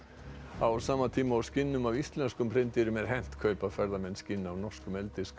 á sama tíma og skinnum af íslenskum hreindýrum er hent kaupa ferðamenn skinn af norskum